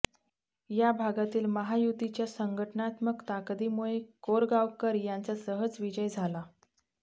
या भागातील महायुतीच्या संघटनात्मक ताकदीमुळे कोरगावकर यांचा सहज विजय झाला